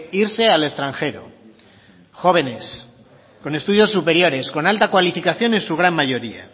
irse al extranjero jóvenes con estudios superiores con alta cualificación en su gran mayoría